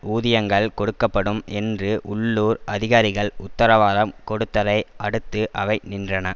ஊதியங்கள் கொடுக்க படும் என்று உள்ளூர் அதிகாரிகள் உத்தரவாதம் கொடுத்ததை அடுத்து அவை நின்றன